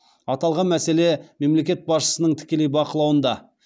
аталған мәселе мемлекет басшысының тікелей бақылауында